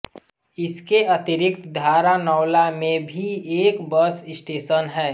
इसके अतिरिक्त धारानौला में भी एक बस स्टेशन है